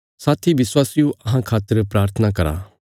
साथी विश्ववासियो अहां खातर प्राथना करो